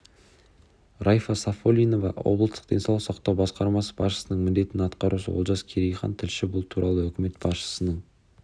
райфа сафиоллинова облыстық денсаулық сақтау басқармасы басшысының міндетін атқарушы олжас керейхан тілші бұл туралы үкімет басшысының